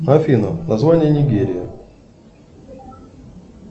афина название нигерии